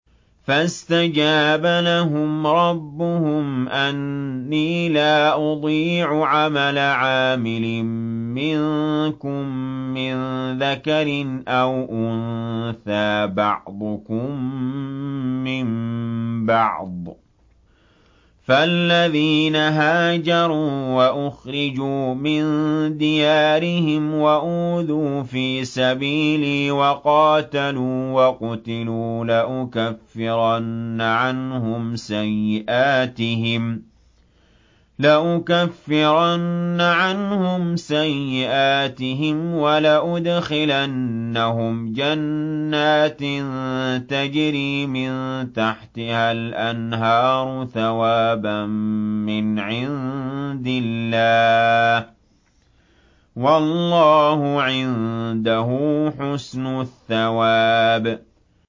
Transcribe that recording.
فَاسْتَجَابَ لَهُمْ رَبُّهُمْ أَنِّي لَا أُضِيعُ عَمَلَ عَامِلٍ مِّنكُم مِّن ذَكَرٍ أَوْ أُنثَىٰ ۖ بَعْضُكُم مِّن بَعْضٍ ۖ فَالَّذِينَ هَاجَرُوا وَأُخْرِجُوا مِن دِيَارِهِمْ وَأُوذُوا فِي سَبِيلِي وَقَاتَلُوا وَقُتِلُوا لَأُكَفِّرَنَّ عَنْهُمْ سَيِّئَاتِهِمْ وَلَأُدْخِلَنَّهُمْ جَنَّاتٍ تَجْرِي مِن تَحْتِهَا الْأَنْهَارُ ثَوَابًا مِّنْ عِندِ اللَّهِ ۗ وَاللَّهُ عِندَهُ حُسْنُ الثَّوَابِ